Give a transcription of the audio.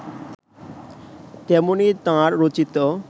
তেমনি তাঁর রচিত